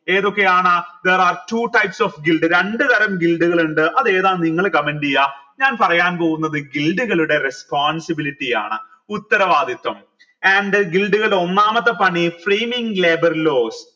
ഏതൊക്കെയാണ് there are two types of രണ്ട് തരാം കൾ ഇണ്ട് അതെന്താന്ന് നിങ്ങൾ comment എയ ഞാൻ പറയാൻ പോകുന്നത് കളുടെ responsbility ആണ് ഉത്തരവാദിത്വം and ഒന്നാമത്തെ പണി framing labour laws